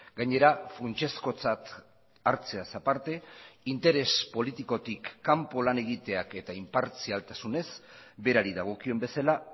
gainera funtsezkotzat hartzeaz aparte interes politikotik kanpo lan egiteak eta inpartzialtasunez berari dagokion bezala